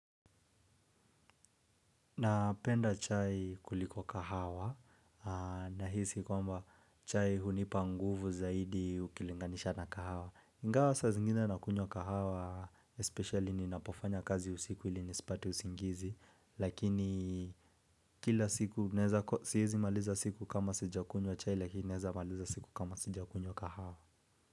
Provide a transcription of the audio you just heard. Napenda chai kuliko kahawa nahisi kwamba chai hunipa nguvu zaidi ukilinganisha na kahawa. Ingawa saa zingine nakunywa kahawa especially ninapofanya kazi usiku ili nisipate usingizi. Lakini kila siku siwezi maliza siku kama sijakunywa chai lakini naeza maliza siku kama sijakunywa kahawa.